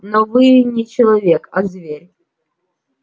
но вы не человек а зверь